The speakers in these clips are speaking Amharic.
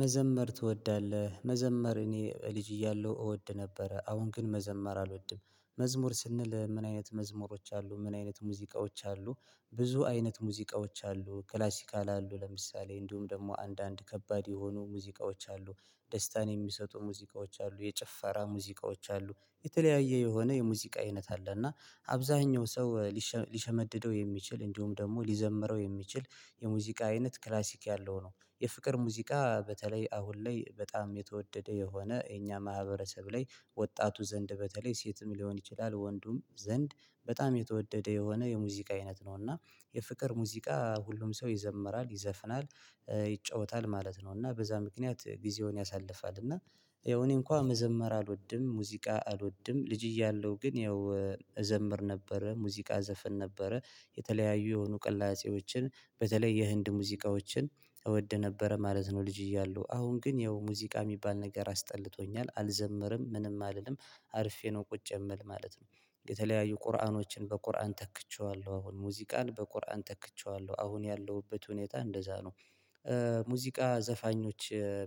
መዘመር ትወዳለህ መዘመር እኔ ልጅ እያለሁ እወድ ነበር አሁን ግን መዘመር አልወድም። መዝሙር ስንል ምን አይነት መዝሙሮች አሉ ምን አይነት ሙዚቃዎች አሉ? ብዙ አይነት ሙዚቃዎች አሉ ክላሲካል አሉ ለምሳሌ እንዲሁም ደግሞ አንዳንድ ከባድ የሆኑ ሙዚቃዎች አሉ። ደስታን የሚሰጡ ሙዚቃዎች አሉ የጭፈራ ሙዚቃዎች አሉ የተለያየ የሆነ የሙዚቃ አይነት አለ። እና አብዛኛው ሰው ሊሸመድደው የሚችል እንዲሁም ደግሞ ሊዘምረው የሚችል የሙዚቃ አይነት ክላሲክ ያለው ነው። የፍቅር ሙዚቃ በተለይ አሁን ላይ በጣም የተወደደ የሆነ የኛ ማህበረሰብ ላይ ወጣቱ ዘንድ በተለይ ሴትም ሊሆን ይችላል ወንዱም ዘንድ በጣም የተወደደ የሆነ የሙዚቃ አይነት ነው። እና የፍቅር ሙዚቃ ሁሉም ሰው ይዘምራል ይዘፍናል ይጫወታል ማለት ነው። እና በዛ ምክንያት ጊዜውን ያሳልፋል እና ያው እኔ እንኳን መዘመር አልወድም። ሙዚቃ አልወድም ልጅ እያለሁ ግን ያው መዘመር ነበረ ሙዚቃ ዘፈን ነበረ። የተለያዩ የሆኑ ቅላጼዎችን በተለይ የህንድ ሙዚቃዎችን እወድ ነበረ ማለት ነው። ልጅ እያሉ አሁን ግን ያው ሙዚቃ የሚባል ነገር አስጠልቶኛል አልዘምርም ምንም አልልም። አርፌ ነው ቁጭ የምል ማለት ነው። የተለያዩ ቁርአኖችን በቁርአን ተክቼዋለሁ አሁን ሙዚቃን በቁርአን ተክቼዋለሁ አሁን ያለሁበት ሁኔታ እንደዛ ነው። ሙዚቃ ዘፋኞች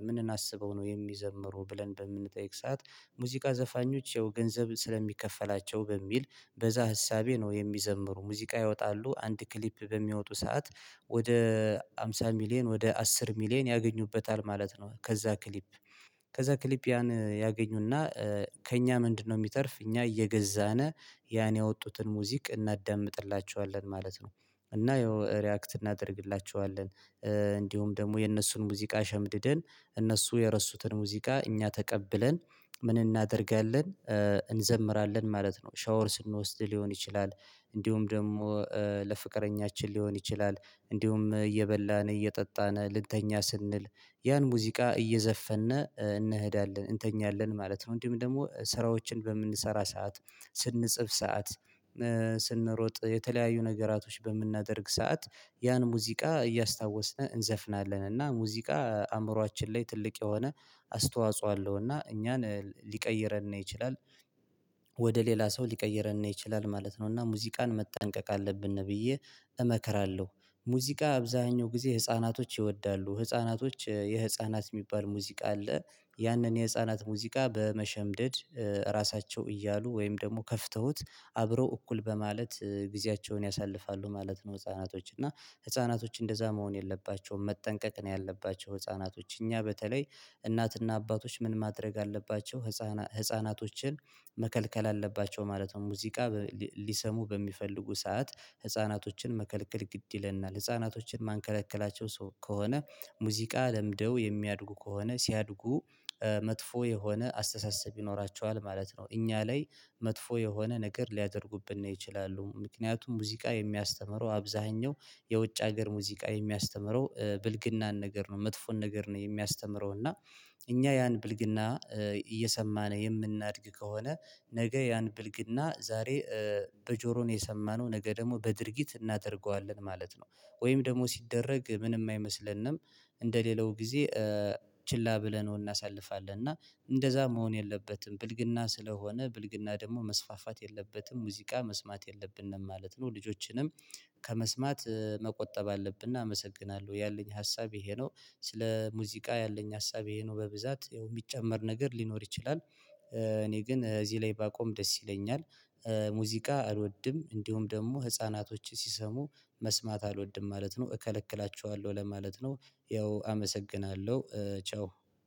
ምን እናስበው ነው የሚዘምሩ ብለን በምንጠይቅ ሰዓት። ሙዚቃ ዘፋኞች የው ገንዘብ ስለሚከፈላቸው በሚል በዛ ሀሳቤ ነው የሚዘምሩ ሙዚቃ ይወጣሉ አንድ ክሊፕ በሚወጡ ሰዓት ወደ ሃምሳ ሚሊየን ወደ አስር ሚሊየን ያገኙበታል ማለት ነው። ከዛ ክሊፕ ከዛ ክሊፕ ያን ያገኙና ከእኛ ምንድነው? የሚተርፍ እኛ እየገዛነ ያን ያወጡትን ሙዚቅ እናዳምጥላችኋለን ማለት ነው። እና ይኸው ሪአክት እናደርግላችኋለን። እንዲሁም ደግሞ የነሱን ሙዚቃ ሸምድደን እነሱ የረሱትን ሙዚቃ እኛ ተቀብለን ምን እናደርጋለን? እንዘምራለን ማለት ነው ሻወር ስንወስድ ሊሆን ይችላል። እንዲሁም ደግሞ ለፍቅረኛችን ሊሆን ይችላል እንዲሁም እየበላን እየጠጣን ልተኛ ስንል ያን ሙዚቃ እየዘፈነ እንሄዳለን እንተኛለን ማለት ነው። እንዲሁም ደግሞ ስራዎችን በምንሰራ ሰዓት ስንጽፍ ሰዓት። ስንሮጥ የተለያዩ ነገራቶች በምናደርግ ሰዓት ያን ሙዚቃ እያስታወስን እንዘፍናለን እና ሙዚቃ አእምሮአችን ላይ ትልቅ የሆነ አስተዋጽኦ አለው እና እኛን ሊቀይረን ይችላል። ወደ ሌላ ሰው ሊቀይረን ይችላል ማለት ነው። እና ሙዚቃን መጠንቀቅ አለብን ብዬ እመከራለሁ። ሙዚቃ አብዛኛው ጊዜ ህፃናቶች ይወዳሉ ህፃናቶች የህፃናት የሚባል ሙዚቃ አለ። ያንን የህፃናት ሙዚቃ በመሸምደድ ራሳቸው እያሉ ወይም ደግሞ ከፍተውት አብረው እኩል በማለት ጊዜያቸውን ያሳልፋሉ ማለት ነው። ህፃናቶች እና ህፃናቶች እንደዛ መሆን የለባቸውም። መጠንቀቅ ነው ያለባቸው ህፃናቶች እኛ በተለይ እናትና አባቶች ምን ማድረግ አለባቸው ህፃናቶችን መከልከል አለባቸው ማለት ነው። ሙዚቃ ሊሰሙ በሚፈልጉ ሰዓት ህፃናቶችን መከልከል ግድ ይለናል። ህፃናቶችን ማንከለከላቸው ከሆነ ሙዚቃ ለምደው የሚያድጉ ከሆነ ሲያድጉ መጥፎ የሆነ አስተሳሰብ ይኖራቸዋል ማለት ነው። እኛ ላይ መጥፎ የሆነ ነገር ሊያደርጉብን ነው ይችላሉ ምክንያቱም ሙዚቃ የሚያስተምረው አብዛኛው የውጭ ሀገር ሙዚቃ የሚያስተምረው ብልግናን ነገር ነው። መጥፎን ነገር ነው የሚያስተምረው እና እኛ ያን ብልግና እየሰማን የምናድግ ከሆነ ነገ ያን ብልግና ዛሬ በጆሮን የሰማነው ነገ ደግሞ በድርጊት እናደርገዋለን ማለት ነው። ወይም ደግሞ ሲደረግ ምንም አይመስለንም። እንደ ሌላው ጊዜ ችላ ብለን እናሳልፋለን። እና እንደዛ መሆን የለበትም ብልግና ስለሆነ ብልግና ደግሞ መስፋፋት የለበትም ሙዚቃ መስማት የለብንም ማለት ነው። ልጆችንም ከመስማት መቆጠብ አለብን እናመሰግናለሁ ያለኝ ሀሳብ ይሄ ነው። ስለ ሙዚቃ ያለኝ ሀሳብ ይሄ ነው በብዛት የሚጨመር ነገር ሊኖር ይችላል። እኔ ግን እዚህ ላይ ባቆም ደስ ይለኛል። ሙዚቃ አልወድም እንዲሁም ደግሞ ህፃናቶች ሲሰሙ መስማት አልወድም ማለት ነው እከለክላችኋለሁ ለማለት ነው። ያው አመሰግናለሁ ቻው።